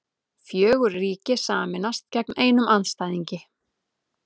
Fjögur ríki sameinast gegn einum andstæðingi